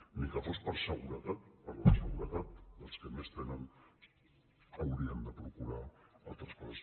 ni que fos per seguretat per la seguretat dels que més tenen hauríem de procurar altres coses